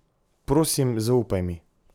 Prosim, zaupaj mi.